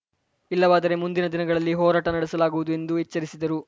ಇಲ್ಲವಾದರೆ ಮುಂದಿನ ದಿನಗಳಲ್ಲಿ ಹೋರಾಟ ನಡೆಸಲಾಗುವುದು ಎಂದು ಎಚ್ಚರಿಸಿದರು